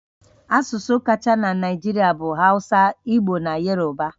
Asụsụ kacha na Naịjirịa bụ Hausa, Igbo na Yoruba